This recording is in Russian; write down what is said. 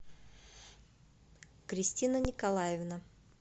кристина николаевна